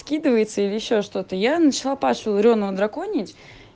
скидывается или ещё что то я начала пашу реонова драконить